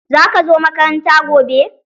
Zaka zo makaranta gobe?